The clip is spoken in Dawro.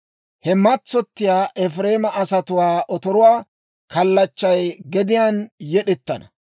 He matsottiyaa Efireema asatuwaa otoruwaa kallachchay gediyaan yed'ettana.